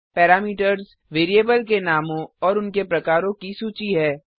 parameters variable के नामों और उनके प्रकारों की सूची है